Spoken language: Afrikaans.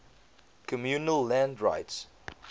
communal land rights